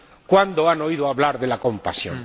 ¿Cuándo han oído hablar de la compasión?